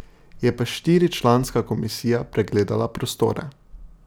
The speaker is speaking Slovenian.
Je pa štiričlanska komisija pregledala prostore.